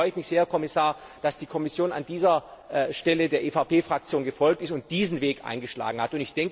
Deswegen freue ich mich sehr, Herr Kommissar, dass die Kommission an dieser Stelle der EVP Fraktion gefolgt ist und diesen Weg eingeschlagen hat!